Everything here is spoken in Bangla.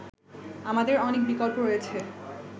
আমাদের অনেক বিকল্প রয়েছে